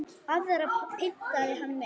Aðra pyntaði hann með eldi.